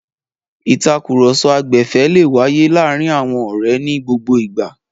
Ìtakùrọ̀sọ agbẹ̀fẹ̀ le wáyé láàárin àwọn ọ̀rẹ́ ní gbogbo ìgbà.